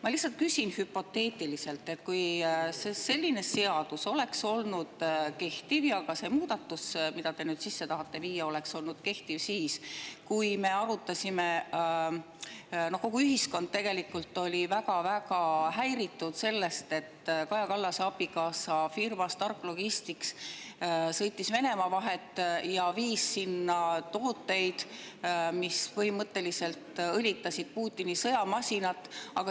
Ma lihtsalt küsin hüpoteetiliselt selle kohta, kui selline seadus oleks kehtinud ja ka see muudatus, mida te nüüd sisse tahate viia, oleks olnud kehtiv siis, kui kogu ühiskond oli väga-väga häiritud sellest, et Kaja Kallase abikaasa firma Stark Logistics sõitis Venemaa vahet ja viis sinna tooteid, mis põhimõtteliselt õlitasid Putini sõjamasinat.